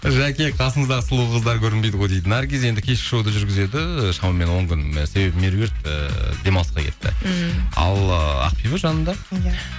жәке қасыңыздағы сұлу қыздар көрінбейді ғой дейді наргиз енді кешкі шоуды жүргізеді шамамен он күн себебі меруерт ыыы демалысқа кетті ммм ал ыыы ақбибі жанымда иә